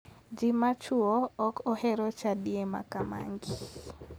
Ji ma chuo ok ohero chadie makamagi.